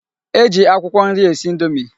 E ji akwụkwọ nri esi indomi.